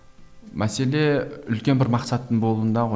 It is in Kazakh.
мәселе үлкен бір мақсаттың болуында ғой